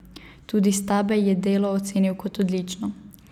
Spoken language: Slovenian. Tudi Stabej je delo ocenil kot odlično.